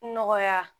Nɔgɔya